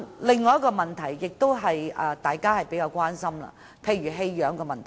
另一個大家比較關心的是棄養問題。